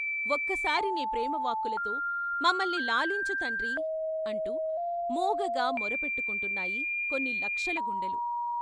ఒక్కసారి నీ ప్రేమ వాక్కులతో మమ్మల్ని లాలించు తండ్రీ "అంటూ మూగగా మొరపెట్టుకుంటున్నాయి కొన్ని లక్షల గుండెలు.